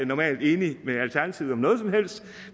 normalt enig med alternativet om noget som helst